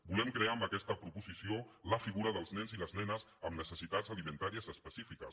volem crear amb aquesta proposició la figura dels nens i les nenes amb necessitats alimentàries específiques